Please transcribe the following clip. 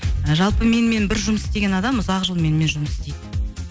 жалпы менімен бір жұмыс істеген адам ұзақ жыл менімен жұмыс істейді